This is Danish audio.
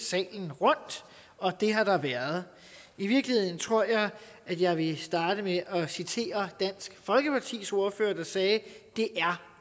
salen rundt og det har der været i virkeligheden tror jeg at jeg vil starte med at citere dansk folkepartis ordfører der sagde at det er